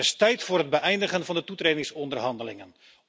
Het is tijd voor het beëindigen van de toetredingsonderhandelingen.